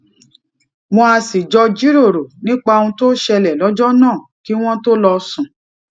wón á sì jọ jiroro nípa ohun tó ṣẹlè lójó náà kí wón tó lọ sùn